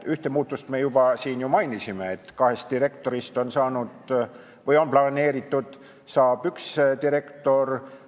Ühte muudatust me juba siin ju mainisime: on planeeritud, et kahe direktori asemel on edaspidi üks direktor.